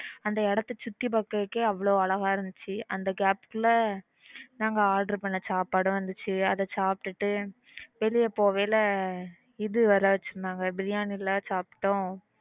அந்த இடத்தை சுத்தி பாக்குறதுக்கே அவ்ளோ அழகா இருந்துச்சு அந்த gap ல நாங்க order பண்ண சாப்பாடு வந்துருச்சு அதா சாப்டுட்டு வெளியில போகும்போது இது வேற வெச்சிருந்தாங்க பிரியாணி ல சாப்பிட்டோம்